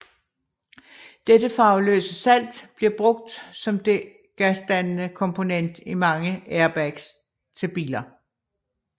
Dette farveløse salt bliver brugt som det gasdannende komponent i mange airbags til biler